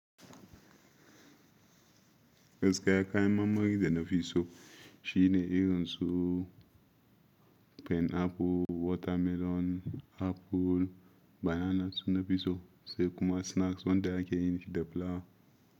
Gaskiya kayan marmari da nafi so shi ne irin su pineapple, watermelon, apple, bananas su nafi so sai kuma snacks wanda ake yin shi da flour.